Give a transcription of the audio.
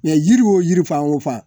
yiri wo yiri fan wo fan